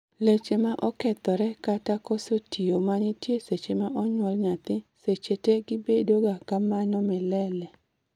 leche ma okethore kata koso tiyo manitie seche ma onyuol nyathi seche te gibedo ga kamano milele